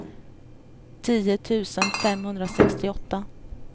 tio tusen femhundrasextioåtta